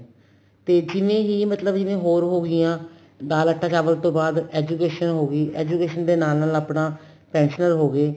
ਤੇ ਜਿਵੇਂ ਹੀ ਮਤਲਬ ਜਿਵੇਂ ਹੋਰ ਹੋਗੀਆਂ ਦਾਲ ਆਟਾ ਚਾਵਲ ਤੋਂ ਬਾਅਦ education ਹੋਗੀ education ਦੇ ਨਾਲ ਨਾਲ ਆਪਣਾ pensionable ਹੋ ਗਏ